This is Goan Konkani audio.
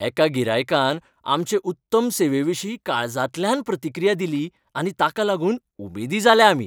एका गिरायकान आमचे उत्तम सेवेविशीं काळजांतल्यान प्रतिक्रीया दिली आनी ताका लागून उमेदी जाले आमी.